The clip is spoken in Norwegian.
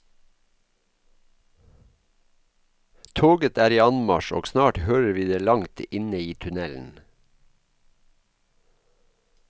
Toget er i anmarsj og snart hører vi det langt inne i tunnelen.